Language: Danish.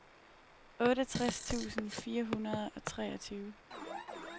otteogtres tusind fire hundrede og treogtyve